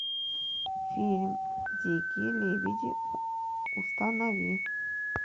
фильм дикие лебеди установи